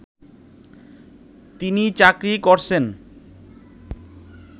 তিনি চাকরি করছেন